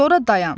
Sonra dayan.